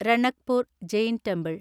Ranakpur Jain temple